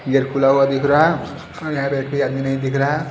gate खुला हुआ दिख रहा है यहां पे एक भी आदमी नही दिख रहा--